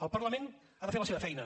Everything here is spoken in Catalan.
el parlament ha de fer la seva feina